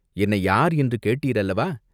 என்னை யார் என்று கேட்டீர் அல்லவா?